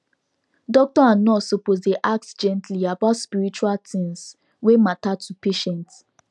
doctor and nurse suppose dey ask gently about spiritual things wey matter to patient